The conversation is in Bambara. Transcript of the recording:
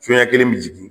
Soɲɛ kelen bɛ jigin